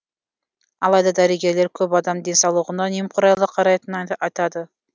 алайда дәрігерлер көп адам денсаулығына немқұрайлы қарайтынын айтады